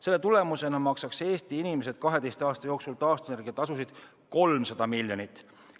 Selle tulemusena maksaksid Eesti inimesed maksaksid 12 aasta jooksul taastuvenergia tasusid 300 miljonit.